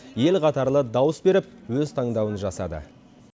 ел қатарлы дауыс беріп өз таңдауын жасады